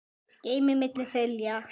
geymdir milli þilja.